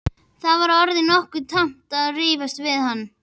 Mér var orðið nokkuð tamt að rífast við hann.